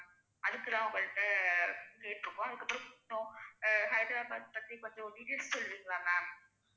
அதுக்குதான் உங்கள்ட்ட கேட்டுருக்கோம். அதுக்கப்புறம் அஹ் ஹைதராபாத் பத்தி கொஞ்சம் details சொல்வீங்களா? ma'am